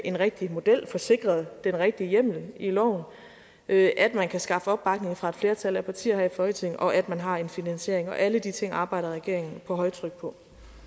en rigtig model og får sikret den rigtige hjemmel i loven at man kan skaffe opbakning fra et flertal af partier her i folketinget og at man har en finansiering og alle de ting arbejder regeringen på højtryk på